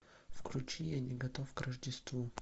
включи я не готов к рождеству